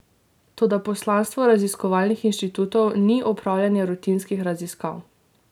Toda poslanstvo raziskovalnih inštitutov ni opravljanje rutinskih raziskav.